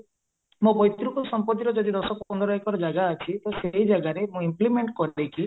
ମୋ ପୈତୃକ ସମ୍ପତିର ଯାଇଦ ଦଶ ପନ୍ଦର ଏକର ଜାଗା ଅଛି ତ ସେଇ ଜାଗାରେ ମୁଁ implement କରିଦେଇକି